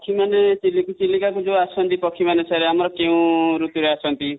ପକ୍ଷୀମାନେ ଚିଲିକା କୁ ଯୋଉ ଆସନ୍ତି, ପକ୍ଷୀ ମାନେ sir ଆମର କେଉଁ ଋତୁ ରେ ଆସନ୍ତି |